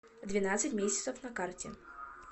двенадцать месяцев на карте